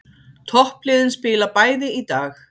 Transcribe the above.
Toppliðin spila bæði í dag